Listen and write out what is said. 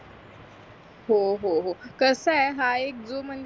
हो हो कसय हा एक जो म्हणजे